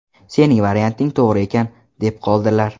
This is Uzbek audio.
Sening varianting to‘g‘ri ekan”, deb qoldilar.